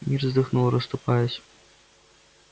мир вздохнул расступаясь